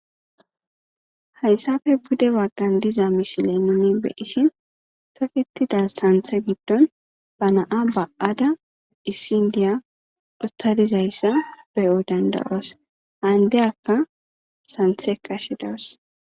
Hayssafe bude waggan diza mishile nuni beishin toqetida santhe giddon ba naa ba'ada issindiya ustadizayssa beyo dandayoos haandeyakka santhe kashi daos.